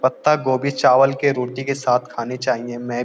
पत्ता गोभी चावल के रोटी के साथ खानी चाहिए मैं --